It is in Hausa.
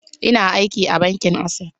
Ina aiki a bankin Access.